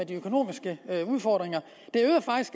de økonomiske udfordringer